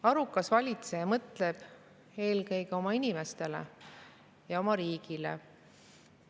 Arukas valitseja mõtleb eelkõige oma inimestele ja oma riigile.